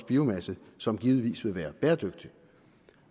biomasse som givetvis vil være bæredygtig